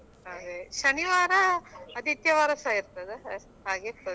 ಅದೇ ಶನಿವಾರ ಆದಿತ್ಯವಾರ ಸಹ ಇರ್ತದ ಹಾಗಿರ್ತದ.